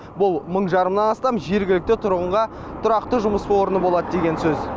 бұл мың жарымнан астам жергілікті тұрғынға тұрақты жұмыс орны болады деген сөз